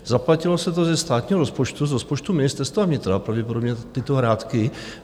Zaplatilo se to ze státního rozpočtu, z rozpočtu Ministerstva vnitra, pravděpodobně, tyto hrátky.